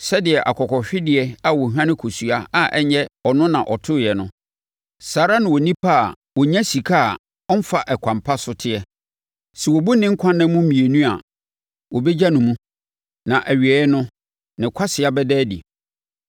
Sɛdeɛ akokɔhwedeɛ a ɔhwane nkosua a ɛnyɛ ɔno na ɔtoeɛ no, saa ara na onipa a ɔnya sika a ɔmfa ɛkwan pa so teɛ. Sɛ wɔbu ne nkwa nna mu mmienu a wɔbɛgya no mu, na awieeɛ no, ne kwasea bɛda adi.